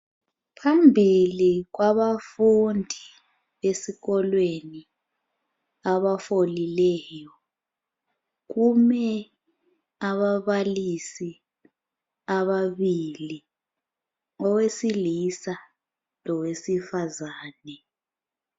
Phambili kwabafundi esikolweni abafolileyo kume ababalisi ababili owesilisa lowesifazane.